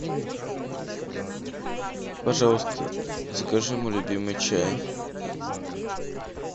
пожалуйста закажи мой любимый чай